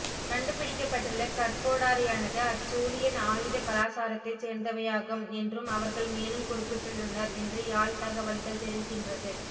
கண்டுபிடிக்கப்பட்டுள்ள கற்கோடாரியானது ஆச்சூலியன் ஆயுத கலாசாரத்தைச் சோ்ந்தவையாகும் என்றும் அவர்கள் மேலும் குறிப்பிட்டுள்ளனர் என்று யாழ் தகவல்கள் தெரிவிக்கின்றது